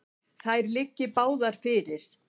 Þær liggi báðar fyrir.